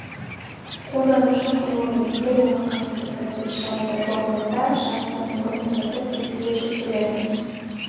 қолданушы құрылымы егер оған қатысты процесс жадыда жоқ болса жадыдан орын босатып дискіге жүктеледі